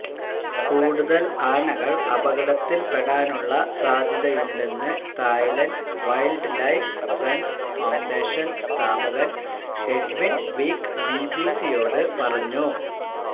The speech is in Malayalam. കൂടുതല് ആനകള് അപകടത്തില്പ്പെടാനുള്ള സാധ്യതയുണ്ടെന്ന് Thailand Wildlife Friends Foundation സ്ഥാപകന് എഡ്വിന് വീക്ക് ബിബിസിയോട് പറഞ്ഞു